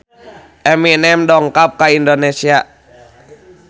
Eminem dongkap ka Indonesia